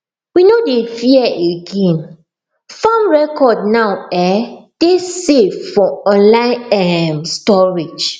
we no dey fear again farm record now um dey safe for online um storage